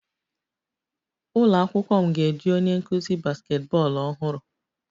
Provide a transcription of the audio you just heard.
Ụlọ akwụkwọ m ga-eji onye nkuzi basketball ọhụrụ